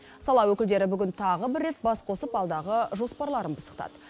сала өкілдері бүгін тағы бір рет бас қосып алдағы жоспарларын пысықтады